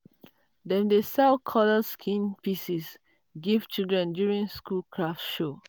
dem dey sell coloured skin piece give children during school craft show.